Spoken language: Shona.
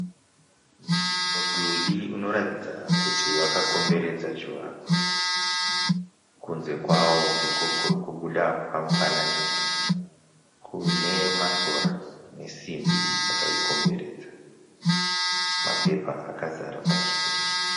Mudhuri unoratidza kuti wakakomberedza chivakwa. Kunze kwawo ndiko kuri kubuda pamufananidzo. Kune masora nesimbi dzakaikomberedza. Mapepa akazara panzvimbo iyi.